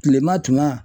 Kilema tuma